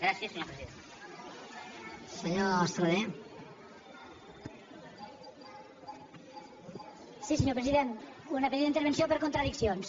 sí senyor president una petita intervenció per contradiccions